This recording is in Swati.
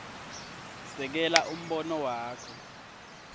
sekela umbono wakho